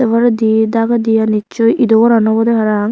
sei poredi dagidiyen nicchoi ido goran obwdey paraang.